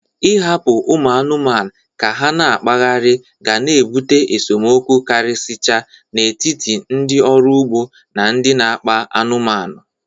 Ị hapụ ụmụ anụmanụ ka ha na-akpaghari ga na-ebụte esemokwu karịsịcha n'etiti ndị ọrụ ugbo na ndị n'akpa anụmanụ.